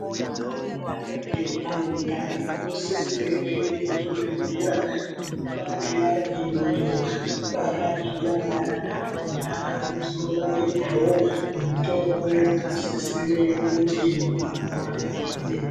Ana mai anenge ane ndani ano sisire ku enda ku zvibhedhlera kuno barira iyoyo abara zviyani ana akona anozo bairwawo mitombo yaka sisire kuti vabairwe .